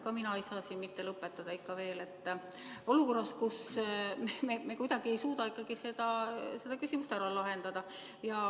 Ka mina ei saa siin lõpetada ikka veel olukorras, kus me kuidagi ei suuda seda küsimust ära lahendada.